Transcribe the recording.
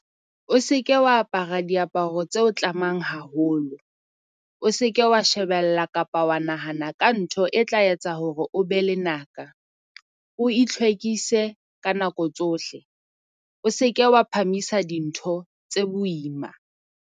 O se ke wa apara diaparo tseo tlamang haholo, o se ke wa shebella kapa wa nahana ka ntho e tla etsa hore o be lenaka. O itlhwekise ka nako tsohle. O se ke wa phamisa dintho tse boima.